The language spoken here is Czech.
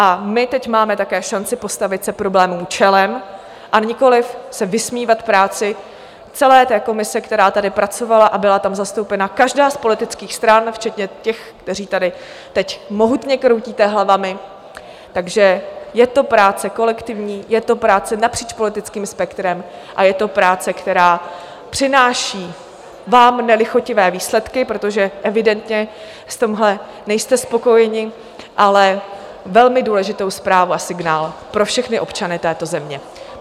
A my teď máme také šanci postavit se problémům čelem, a nikoliv se vysmívat práci celé té komise, která tady pracovala, a byla tam zastoupena každá z politických stran včetně těch, kteří tady teď mohutně kroutíte hlavami, takže je to práce kolektivní, je to práce napříč politickým spektrem a je to práce, která přináší vám nelichotivé výsledky, protože evidentně v tomhle nejste spokojeni, ale velmi důležitou zprávu a signál pro všechny občany této země.